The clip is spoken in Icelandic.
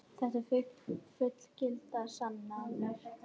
Þetta eru fullgildar sannanir.